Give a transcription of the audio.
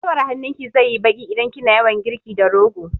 Guiwar hannun ki zai yi baƙi idan kina yawan girki da rogo